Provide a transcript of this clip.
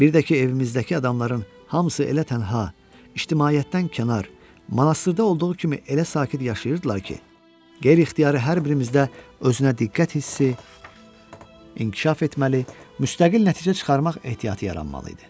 Bir də ki, evimizdəki adamların hamısı elə tənha, ictimaiyyətdən kənar, monastırda olduğu kimi elə sakit yaşayırdılar ki, qeyri-ixtiyari hər birimizdə özünə diqqət hissi inkişaf etməli, müstəqil nəticə çıxarmaq ehtiyatı yaranmalı idi.